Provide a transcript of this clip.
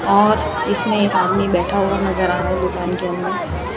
और इसमें एक आदमी बैठा हुआ नजर आ रहा है दुकान के अंदर।